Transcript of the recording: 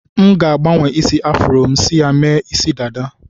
M ga-agbanwe afro m si mee isi dada.